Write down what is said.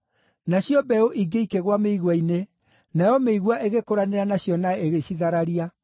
Nacio mbeũ ingĩ ikĩgũa mĩigua-inĩ, nayo mĩigua ĩgĩkũranĩra nacio na ĩgĩcithararia.